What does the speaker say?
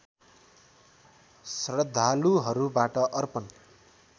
श्रद्धालुहरूबाट अर्पण